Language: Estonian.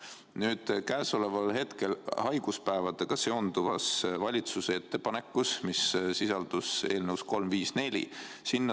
Nüüd puudutab asi haiguspäevadega seonduvat valitsuse ettepanekut, mis sisaldus eelnõus 354.